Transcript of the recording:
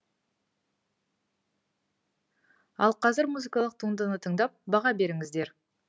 ал қазір музыкалық туындыны тыңдап баға беріңіздер